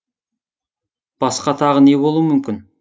басқа тағы не болуы мүмкін